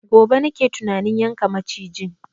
Gobe nake tunanin yanka macijin